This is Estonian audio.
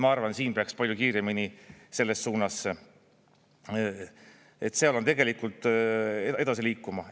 Ma arvan, et siin peaks palju kiiremini selles suunas tegelikult edasi liikuma.